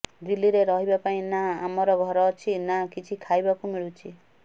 ଦିଲ୍ଲୀରେ ରହିବା ପାଇଁ ନା ଆମର ଘର ଅଛି ନା କିଛି ଖାଇବାକୁ ମିଳୁଛି